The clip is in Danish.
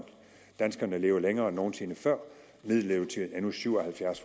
danskerne lever længere end nogensinde før middellevetiden er nu syv og halvfjerds